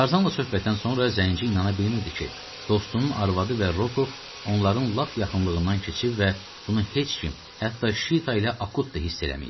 Tarzanla söhbətdən sonra Zenci inana bilmirdi ki, dostunun arvadı və Rokov onların lap yaxınlığından keçib və bunu heç kim, hətta Şita ilə Akut da hiss eləməyib.